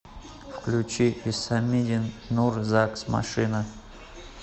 включи исомиддин нур загс машина